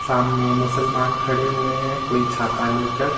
सामने मुसलमान खड़े हुए हैं कोई छाता लेकर--